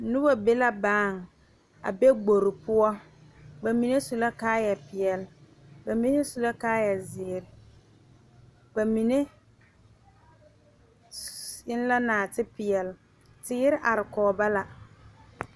Noba be la bae gbore poɔ bamine su la kaaya peɛle bamine su la kaaya ziiri bamine s eŋ la naate peɛle teere are kɔŋ ba la.